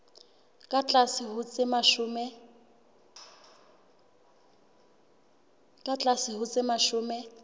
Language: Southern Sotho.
ka tlase ho tse mashome